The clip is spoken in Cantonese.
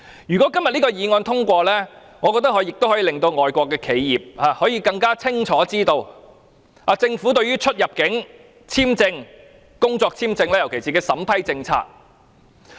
如果今天這項議案獲得通過，我覺得可以令外國企業更清楚知道政府對於入境簽證，特別是工作簽證的審批政策。